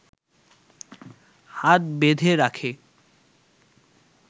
হাত বেঁধে রাখে